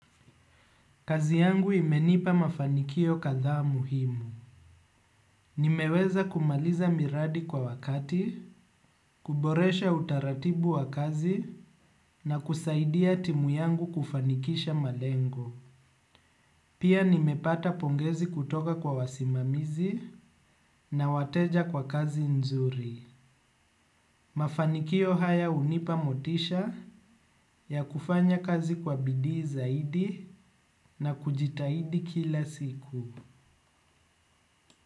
Kazi yangu imenipa mafanikio kadhaa muhimu. Nimeweza kumaliza miradi kwa wakati, kuboresha utaratibu wa kazi na kusaidia timu yangu kufanikisha malengo. Pia nimepata pongezi kutoka kwa wasimamizi na wateja kwa kazi nzuri. Mafanikio haya hunipa motisha ya kufanya kazi kwa bidii zaidi na kujitahidi kila siku.